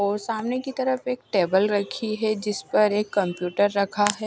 और सामने की तरफ एक टेबल रखी है जिस पर एक कंप्यूटर रखा है।